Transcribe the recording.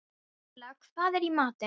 Silla, hvað er í matinn?